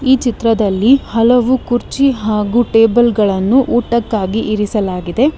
ಈ ಚಿತ್ರದಲ್ಲಿ ಹಲವು ಕುರ್ಚಿ ಹಾಗೂ ಟೇಬಲ್ ಗಳನು ಊಟಕ್ಕಾಗಿ ಇರಿಸಲಾಗಿದೆ.